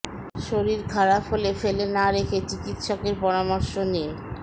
শরীর খারাপ হলে ফেলে না রেখে চিকিৎসকের পরামর্শ নিন